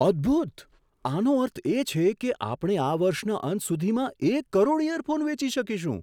અદ્ભૂત! આનો અર્થ એ છે કે આપણે આ વર્ષના અંત સુધીમાં એક કરોડ ઇયરફોન વેચી શકીશું!